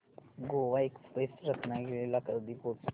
Goa express Ratnagiri ला कधी पोहचते